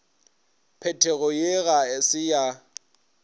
phetogo ye ga se ya